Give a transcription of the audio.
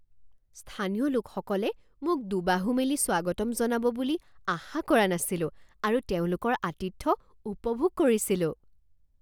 স্থানীয় লোকসকলে মোক দুবাহু মেলি স্বাগতম জনাব বুলি আশা কৰা নাছিলোঁ আৰু তেওঁলোকৰ আতিথ্য উপভোগ কৰিছিলোঁ৷